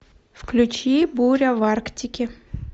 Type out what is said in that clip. включи буря в арктике